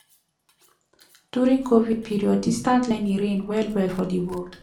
during covid period distance learning reign well well for di world